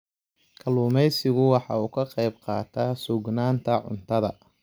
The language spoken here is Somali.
Kalluumaysigu waxa uu ka qayb qaataa sugnaanta cuntada.